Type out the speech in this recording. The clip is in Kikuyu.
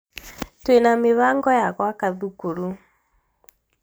twina mibango ya gwaka thukuru